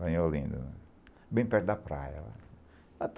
Lá em Olinda, bem perto da praia lá.